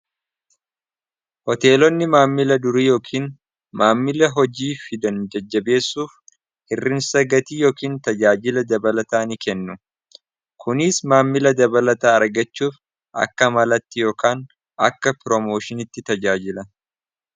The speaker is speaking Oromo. hoteelonni maammila durii yookiin maammila hojii fidan jajjabeessuuf hirrinsa gatii yookiin tajaajila dabalataa ni kennu kuniis maammila dabalata argachuuf akka malatti yokaan akka piroomooshinitti tajaajila